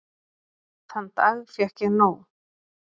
Þann dag fékk ég nóg.